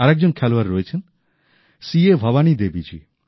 আর একজন খেলোয়াড় রয়েছেন সি এ ভবানী দেবী জী